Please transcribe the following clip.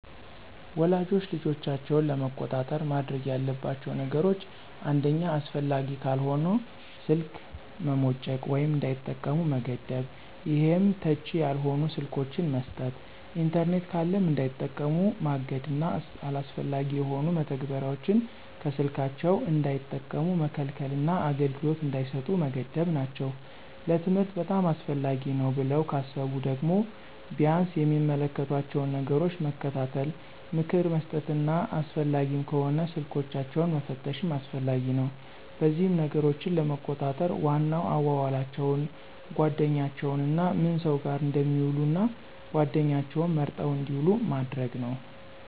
ወላጆች ልጆቻቸውን ለመቆጣጠር ማድረግ ያለባቸው ነገሮች አንደኛ አስፈላጊ ካልሆነ ስልክ መሞጨቅ ወይም እንዳይጠቀሙ መገደብ ይሄም ተች ያልሆኑ ስልኮችን መስጠት። ኢንተርኔት ካለም እንዳይጠቀሙ ማገድና አላስፈላጊ የሆኑ መተግበሪያዎችን ከስልካቸው እንዳይጠቀሙ መከልከልና አገልግሎት እንዳይሰጡ መገደብ ናቸው። ለትምህርት በጣም አስፈላጊ ነው ብለው ካሰቡ ደግሞ ቢያንስ የሚመለከቷቸውን ነገሮች መከታተል፣ ምክር መስጠትና አስፈላጊም ከሆነ ስልኮችንን መፈተሽም አስፈላጊ ነው። በዚህም ነገሮችን ለመቆጣጠር ዋናው አዋዋላቸውን፣ ጓደኛቸውንና ምን ሰው ጋር እንደሚውሉ እና ጓደኛቸውም መርጠው እንድውሉ ማድረግ ነው።